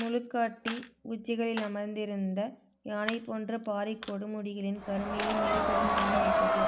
முழுக்காட்டி உச்சிகளில் அமர்ந்திருந்த யானைபோன்ற பாறைக் கொடுமுடிகளின் கருமையை மெருகுடன் மின்னவைத்தது